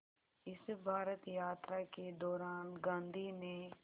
इस भारत यात्रा के दौरान गांधी ने